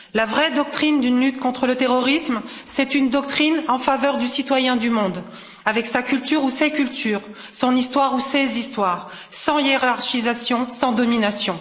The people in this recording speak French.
La vraie doctrine d'une lutte contre le terrorisme, c'est une doctrine en faveur du citoyen du monde, avec sa culture ou ses cultures, son histoire ou ses histoires, sans hiérarchisation, sans domination.